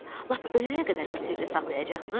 Lap ölənə qədər bu sirri saxlayacaqsınız.